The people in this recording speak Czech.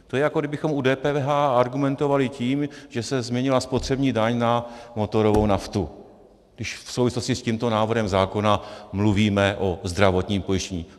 To je, jako kdybychom u DPH argumentovali tím, že se změnila spotřební daň na motorovou naftu, když v souvislosti s tímto návrhem zákona mluvíme o zdravotním pojištění.